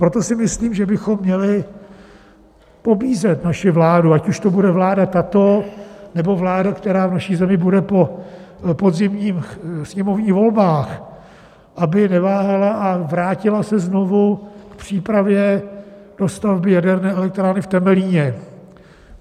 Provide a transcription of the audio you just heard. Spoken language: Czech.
Proto si myslím, že bychom měli pobízet naši vládu, ať už to bude vláda tato nebo vláda, která v naší zemi bude po podzimních sněmovních volbách, aby neváhala a vrátila se znovu k přípravě dostavby jaderné elektrárny v Temelíně.